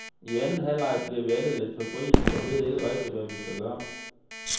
I anden halvleg bliver vi alle lidt febrilske og ved ikke rigtig, hvad vi skal gøre.